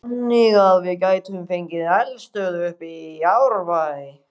Þannig að við gætum fengið eldstöð uppi í Árbæ?